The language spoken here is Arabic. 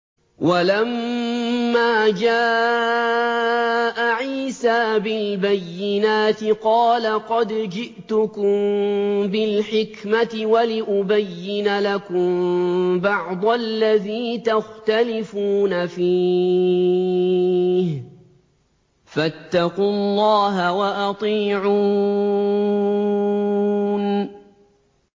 وَلَمَّا جَاءَ عِيسَىٰ بِالْبَيِّنَاتِ قَالَ قَدْ جِئْتُكُم بِالْحِكْمَةِ وَلِأُبَيِّنَ لَكُم بَعْضَ الَّذِي تَخْتَلِفُونَ فِيهِ ۖ فَاتَّقُوا اللَّهَ وَأَطِيعُونِ